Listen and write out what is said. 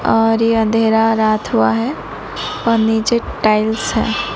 और ये अंधेरा रात हुआ हैं और नीचे टाइल्स है।